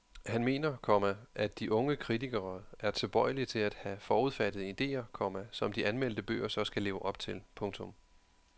Han mener, komma at de unge kritikere er tilbøjelige til at have forudfattede idéer, komma som de anmeldte bøger så skal leve op til. punktum